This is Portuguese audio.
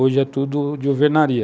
Hoje é tudo de alvenaria.